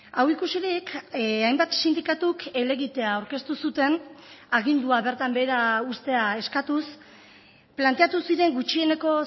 hau ikusirik hainbat sindikatuk helegitea aurkeztu zuten agindua bertan behera uztea eskatuz planteatu ziren gutxieneko